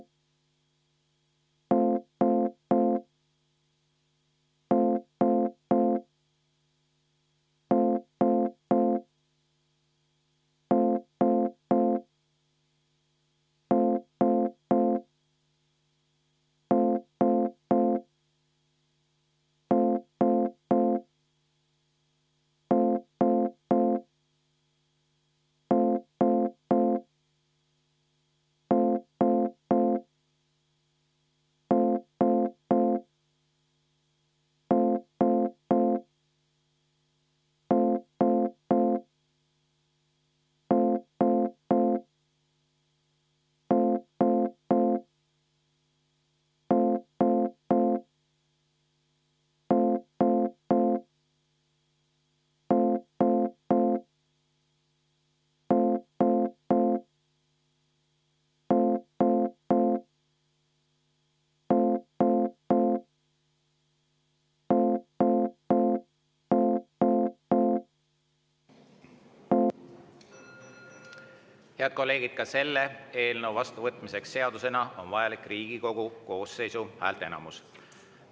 Head kolleegid, ka selle eelnõu vastuvõtmiseks seadusena on vajalik Riigikogu koosseisu häälteenamus.